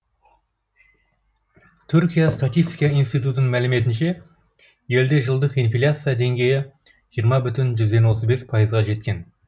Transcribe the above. түркия статистика институтының мәліметінше елде жылдық инфляция деңгейі жиырма бүтін отыз бес пайызға жеткен